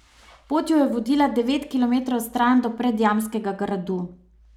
Pot ju je vodila devet kilometrov stran do Predjamskega gradu.